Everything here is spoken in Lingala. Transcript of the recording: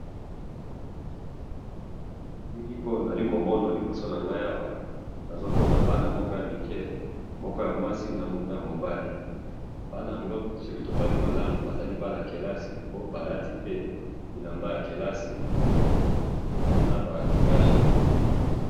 Na moni bana mike ya kelasi ,balati ba uniformes na ba cash nez.